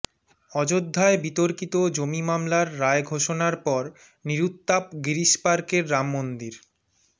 অযোধ্যায় বিতর্কিত জমি মামলার রায় ঘোষণার পর নিরুত্তাপ গিরিশ পার্কের রাম মন্দির